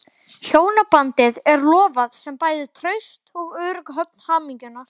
Hjónabandið er lofað sem bæði traust og örugg höfn hamingjunnar.